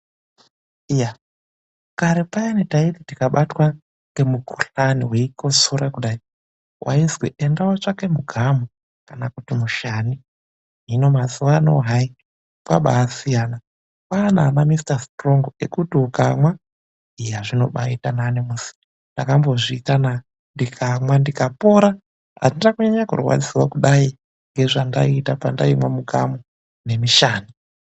Iya kare payani taiti tikabatwa ngemukhuhlani weikotsora kudai waizwi ende wotsvake mugamu kana kuti mushani hino mazuwano hai kwabasiyana kwana ana(Mr Strong) ekuti ukamwa eya zvinobaita nani muzi ndakambozviitana ndikamwa ndikapora andina kunyanya kurwadziswa kudai ngezvandaita pandaimwa mugamu nemushani.